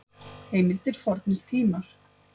Heimildir Fornir tímar.